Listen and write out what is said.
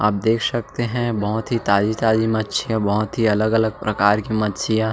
आप देख सकते है बहोत ही ताज़ी-ताज़ी मछिया बहोत ही अलग-अलग प्रकार की मछिया--